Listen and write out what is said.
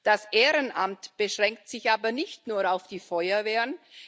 Das Ehrenamt beschränkt sich aber nicht nur auf die Feuerwehren.